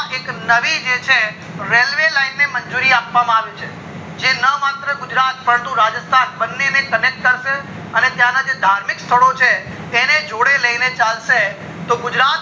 એક નવી જે છે railway line ને મંજુરી આપવા માં આવી છે જે ન માત્ર ગુજરાત પરંતુ રાજસ્થાન બંને ને connect કરશે અને ત્યાં ને જે ધાર્મિક સ્થળો છે એને જોડે લઈને ચાલશે તો ગુજરાત